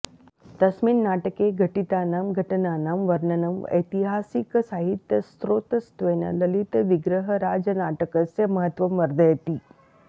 तस्मिन् नाटके घटितानां घटनानां वर्णनम् ऐतिहासिकसाहित्यस्रोतस्त्वेन ललितविग्रहराजनाटकस्य महत्त्वं वर्धयति